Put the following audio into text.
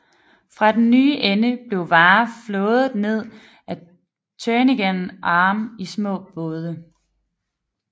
Fra den nye ende blev varer flådet ned ad Turnagain Arm i små både